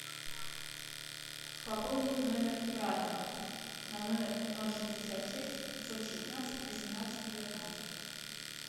пополнить номер брата на номер ноль шестьдесят шесть пятьсот шестнадцать восемнадцать девятнадцать